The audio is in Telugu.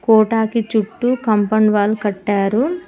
కోటా కి చుట్టూ కంపౌండ్ వాల్ కట్టారు